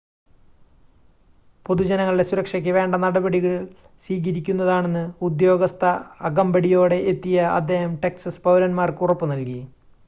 പൊതുജനങ്ങളുടെ സുരക്ഷയ്ക്ക് വേണ്ട നടപടികൾ സ്വീകരിക്കുന്നതാണെന്ന് ഉദ്യോഗസ്ഥ അകമ്പടിയോടെ എത്തിയ അദ്ദേഹം ടെക്സസ് പൗരന്മാർക്ക് ഉറപ്പ് നൽകി